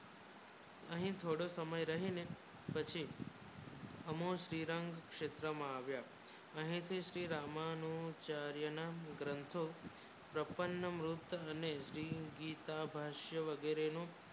કહી થોડો સમય રહીને શ્રી રામ ક્ષેત્ર મ આવ્યા અહીંથી શ્રી રામનું ચાર્ય ના ગ્રંથ પ્રપંચ મુક્ત અને શ્રી ગીતા ભાષ્ય વગૈરે નું